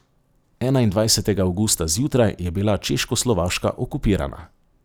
Enaindvajsetega avgusta zjutraj je bila Češkoslovaška okupirana.